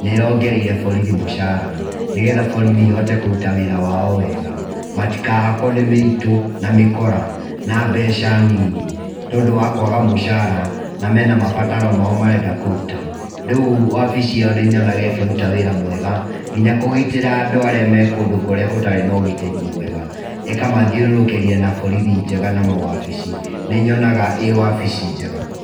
nĩ ĩrongereire borithi mũcara nĩgetha borithi ihote kũruta wĩra wao wega matikahakwo nĩ mĩitũ na mĩkora na mbeca nini nĩ tondũ wa kwaga mũcara na mena mabataro mao marenda kũruta rĩu wabici icio nĩnyonaga ĩkĩruta wĩra mwega nginya kũgitĩra andũ arĩa me kũrĩa gũtarĩ na ũgitĩri mwega makamathiũrũrũkĩria na borithi njega na wabici, nĩnyonaga ĩĩ wabici njega.